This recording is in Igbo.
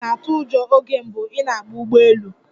Ị̀ na-atụ ụjọ oge mbụ ị na-agba ụgbọ elu?